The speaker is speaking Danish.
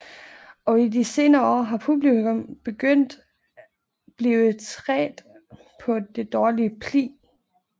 Og i de senere år har publikum begyndet blive trædte på det dårlige spli